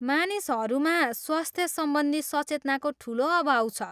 मानिसहरूमा स्वस्थ सम्बन्धी सचेतनाको ठुलो अभाव छ।